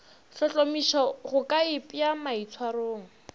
hlohlomiša go ka ipea maitshwarong